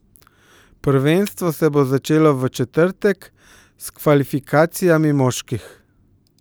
Prvenstvo se bo začelo v četrtek s kvalifikacijami moških.